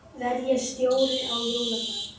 Verð ég stjóri á jóladag?